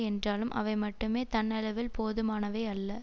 என்றாலும் அவை மட்டுமே தன்னளவில் போதுமானவையல்ல